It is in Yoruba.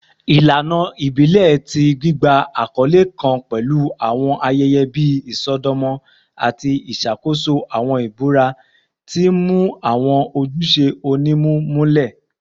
Ilana ibile ti gbigba akọle kan pẹlu awọn ayẹyẹ bii isọdọmọ ati iṣakoso awọn ibura, ti n mu awọn ojuṣe onimu mulẹ.